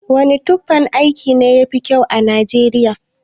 Wane tufan aiki ne yafi kyau a nijeriya?